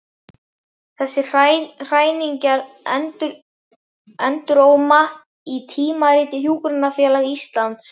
Þessar hræringar enduróma í Tímariti Hjúkrunarfélags Íslands.